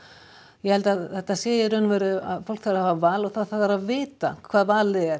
ég held að þetta sé í raun og veru að fólk þarf að hafa val og það að vita hvað valið er